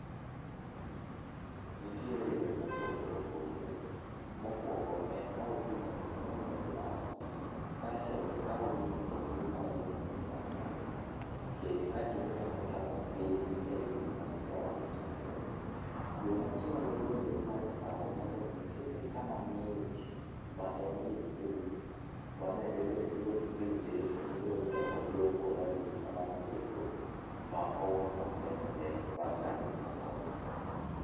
Nitiere yore mopogore opogore, mokuongo en kau pi mondo mi iol e glass, kae to ikau gini endi ma iluongo ni dania, ket ka tiendene ochomo piny ei pi ma iseolo chande. Yo machielo bende inyalo kawe mondo mi ikete kama ng'ich ma en e fridge, mano endo bende borite kendo bomiyo odong' koralum kamano eko, ma ok okethore bang' ndalo moko.